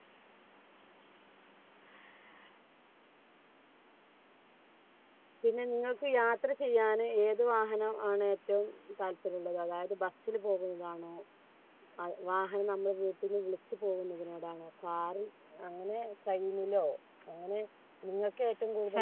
പിന്നെ നിങ്ങൾക്ക് യാത്ര ചെയ്യാൻ ഏതു വാഹനം ആണ് ഏറ്റവും താല്പര്യമുള്ളത് അതായത് bus ൽ പോകുന്നതാണോ വാഹനങ്ങൾ വീട്ടിൽ വിളിച്ചു പോകുന്നതിനോട് അങ്ങനെ കഴിയുന്നില്ല നിങ്ങൾക്ക് ഏറ്റവും കൂടുതൽ